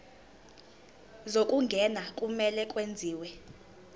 zokungena kumele kwenziwe